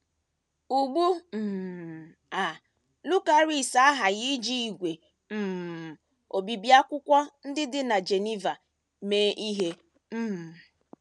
Ugbu um a Lucaris aghaghị iji ígwè um obibi akwụkwọ ndị dị na Geneva mee ihe um.